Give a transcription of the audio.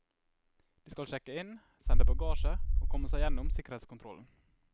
De skal sjekke inn, sende bagasje, og komme seg gjennom sikkerhetskontrollen.